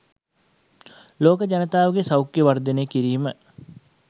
ලෝක ජනතාවගේ සෞඛ්‍යය වර්ධනය කිරීම